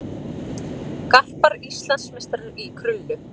Garpar Íslandsmeistarar í krullu